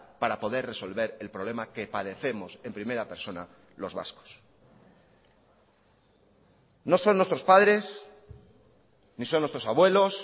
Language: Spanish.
para poder resolver el problema que padecemos en primera persona los vascos no son nuestros padres ni son nuestros abuelos